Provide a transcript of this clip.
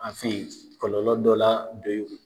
An fɛ yen kɔlɔlɔ dɔ la yen